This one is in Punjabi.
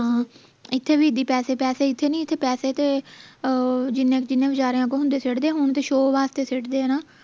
ਹਾਂ ਇਥੇ ਵੀ ਪੈਸੇ ਪੈਸੇ ਇਥੇ ਨੀ ਪੈਸੇ ਤੇ ਅਹ ਜਿੰਨੇ ਵਿਚਾਰਿਆਂ ਕੋਲ ਹੁੰਦੇ ਸਿੱਟਦੇ ਹੁਣ ਤੇ show ਵਾਸਤੇ ਸਿੱਟਦੇ ਹੈ ਨਾ